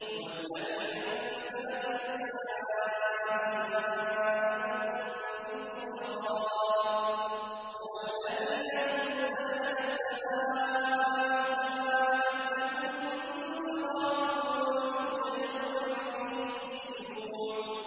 هُوَ الَّذِي أَنزَلَ مِنَ السَّمَاءِ مَاءً ۖ لَّكُم مِّنْهُ شَرَابٌ وَمِنْهُ شَجَرٌ فِيهِ تُسِيمُونَ